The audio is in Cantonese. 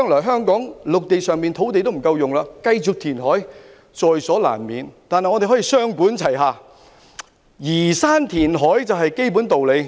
香港的陸地將來不夠使用，繼續填海是在所難免的，但我們可以雙管齊下，移山填海是基本的道理。